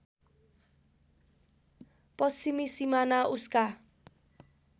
पश्चिमी सिमाना उसका